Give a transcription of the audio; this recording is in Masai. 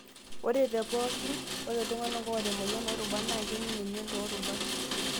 Ore tepookin, ore iltungana oota emoyian oorubat naa kening' emion toorubat.